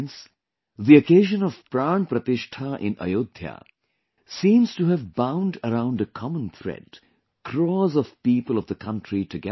Friends, the occasion of Pran Pratishtha in Ayodhya seems to have bound around a common thread, crores of people of the country together